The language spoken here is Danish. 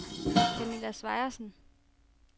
Camilla Sejersen